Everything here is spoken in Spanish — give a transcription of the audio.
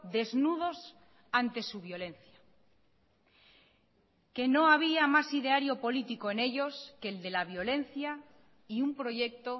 desnudos ante su violencia que no había más ideario político en ellos que el de la violencia y un proyecto